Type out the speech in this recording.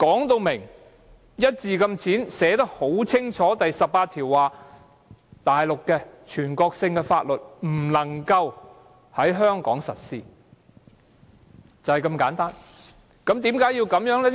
第十八條寫得很清楚：內地的全國性法律不能夠在香港實施，就是如此簡單。